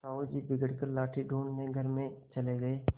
साहु जी बिगड़ कर लाठी ढूँढ़ने घर में चले गये